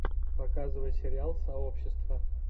показывай сериал сообщество